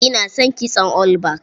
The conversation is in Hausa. Ina son kitson all back.